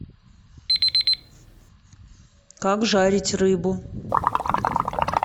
как жарить рыбу